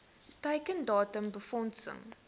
teiken datum befondsing